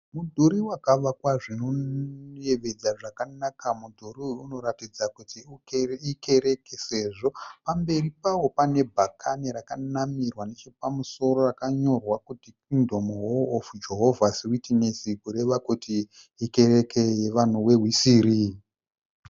Mudhuri wakavakwa zvinoyevedza zvakanaka. Mudhuri uyu unoratidza kuti ikereke sezvo pamberi pavo pane bhakani rakanamirwa nechapamusoro rakanyorwa kunzi, " Kingdom Hall of Jehova 's Witness." Kureva kuti ikereke yevanhu veHwisiri.